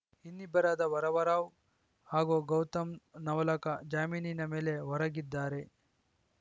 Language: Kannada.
ಇನ್ನಿಬ್ಬರಾದ ವರವರರಾವ್‌ ಹಾಗೂ ಗೌತಮ್‌ ನವಲಖ ಜಾಮೀನಿನ ಮೇಲೆ ಹೊರಗಿದ್ದಾರೆ